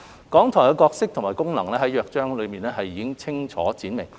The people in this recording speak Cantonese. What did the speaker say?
港台的角色和功能在《約章》中已清楚闡明。